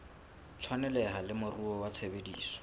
tshwaneleha le moruo wa tshebetso